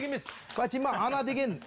фатима ана деген